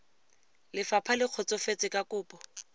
lefapha le kgotsofetse ka kopo